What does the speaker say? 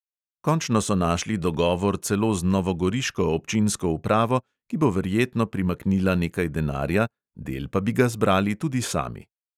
Končno so našli dogovor celo z novogoriško občinsko upravo, ki bo verjetno primaknila nekaj denarja, del pa bi ga zbrali tudi sami.